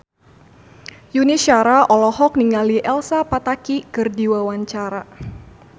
Yuni Shara olohok ningali Elsa Pataky keur diwawancara